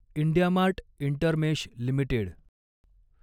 IndiaMART Intermesh limited